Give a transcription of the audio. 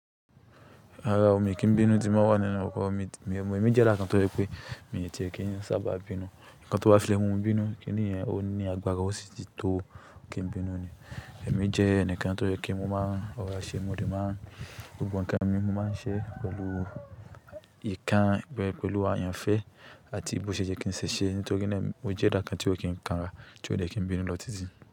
Rara o, mi kì í bínú ti mo bá wà nínú ọkọ̀ mi. Èmi jẹ́ ẹ̀dà kan tó jẹ́ pé mi ò ti e kí n sábà bínú. Nkán tó bá fi mu bínú, kiní yẹn ó ní agbára, ó sì tó kìí bínú ni. Ẹ̀mí jẹ́ ẹnìkan tó jẹ́ kí mo máa ọ̀rá ṣe, mo rí máa gbogbo nǹkan mi mo máa ń ṣe pẹ̀lú ikán, pẹ̀lú àyànfẹ́ àti bó ṣe jẹ́ kí n ṣe ṣe. Nítorí pé mo jẹ́ ẹ̀dà kan tí ó kì í kanra, tí ó dẹ́ki bínú lọ títí.